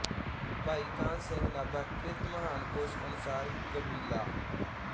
ਭਾਈ ਕਾਨ੍ਹ ਸਿੰਘ ਨਾਭਾ ਕ੍ਰਿਤ ਮਹਾਨ ਕੋਸ਼ ਅਨੁਸਾਰ ਕਬੀਲਾਅ